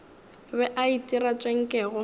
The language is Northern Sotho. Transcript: be a itira tše nkego